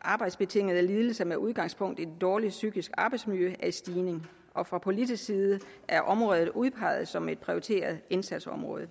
arbejdsbetingede lidelser med udgangspunkt i et dårligt psykisk arbejdsmiljø er i stigning og fra politisk side er området udpeget som et prioriteret indsatsområde